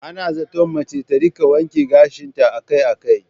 Ana zaton mace ta rika wanke gashinta akai-akai.